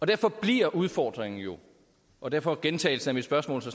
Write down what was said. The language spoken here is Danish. derfor bliver udfordringen jo og derfor gentagelsen af mit spørgsmål så